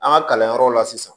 An ka kalanyɔrɔw la sisan